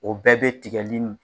O bɛɛ bɛ tigɛli